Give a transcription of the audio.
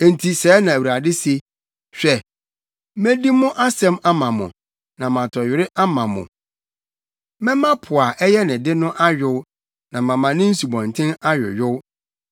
Enti sɛɛ na Awurade se: “Hwɛ, medi mo asɛm ama mo na matɔ were ama mo; Mɛma po a ɛyɛ ne de no ayow na mama ne nsubɔnten ayoyow.